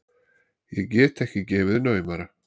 Ég get ekki gefið naumara.